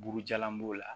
Burujalan b'o la